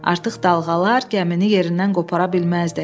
Artıq dalğalar gəmini yerindən qopara bilməzdi.